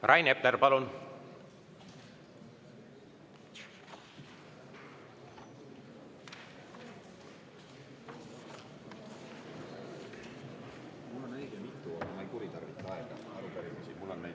Rain Epler, palun!